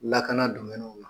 Lakana domɛniw la